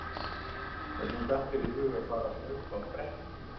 Hvernig datt þér í hug að fara að hlaupa á bretti?